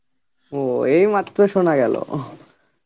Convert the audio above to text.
ও এইমাত্র শোনা গেল .